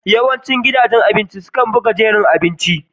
Yawancin gidajen cin abinci suna buga jerin abubuwan abinci.